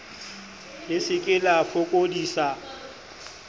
le se ke la fokodisa